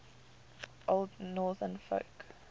old northern folk